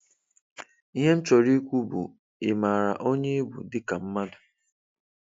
Ihe m chọrọ ikwu bu, ị maara onye ị bụ dị ka mmadụ?